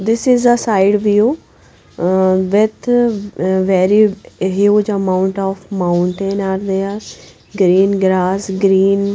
This is a side view with very huge amount of mountain are there green grass green--